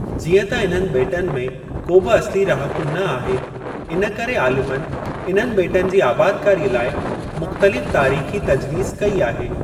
जीअं त इन्हनि ॿेटनि में को बि असुली रहाकू न आहे, इन करे आलिमनि इन्हनि ॿेटनि जी आबादकारीअ लाइ मुख़्तलिफ़ तारीख़ी तज्वीस कई आहे।